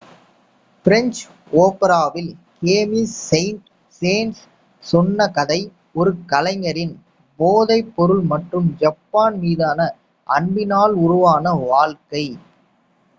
"French ஓபராவில் Camille Saint Saens சொன்ன கதை ஒரு கலைஞரின் "போதைப்பொருள் மற்றும் ஜப்பான் மீதான அன்பினால் உருவான வாழ்க்கை.""